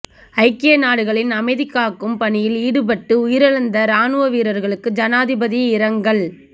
ஐக்கிய நாடுகளின் அமைதிகாக்கும் பணியில் ஈடுபட்டு உயிரிழந்த இராணுவவீரர்களுக்கு ஜனாதிபதி இரங்கல்